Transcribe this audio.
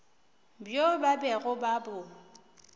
bjo ba bego ba bo